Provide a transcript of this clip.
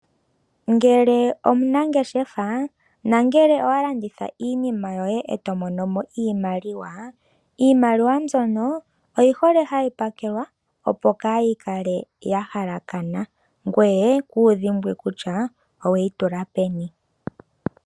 Ngele omunangeshefa, nangele owa landitha iinima yoye e to monomo iimaliwa, iimaliwa mbyono oyi hole hayi pakelwa opo kayi kale ya halakana, ngoye kuyi dhimbwe kutya oweyi tula peni.